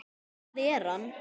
Og hvar er hann?